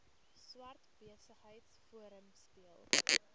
swart besigheidsforum speel